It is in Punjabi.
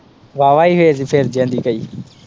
ਵਾ ਵਾ ਹੀ ਫੇ, ਫਿਰ ਤੇ ਫਿਰ ਜਾਂਦੀ ਕਹੀ।